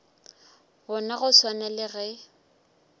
bona go swana le ge